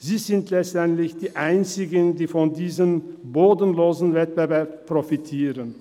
Sie sind letztendlich die Einzigen, die von diesem bodenlosen Wettbewerb profitieren.